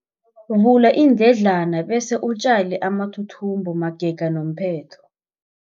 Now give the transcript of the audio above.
Vula iindledlana bese utjale amathuthumbo magega nomphetho.